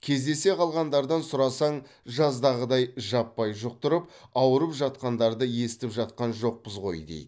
кездесе қалғандардан сұрасаң жаздағыдай жаппай жұқтырып ауырып жатқандарды естіп жатқан жоқпыз ғой дейді